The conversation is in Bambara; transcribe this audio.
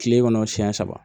Kile kɔnɔ siɲɛ saba